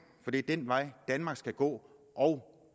for det er den vej danmark skal gå og